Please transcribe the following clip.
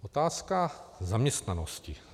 Otázka zaměstnanosti.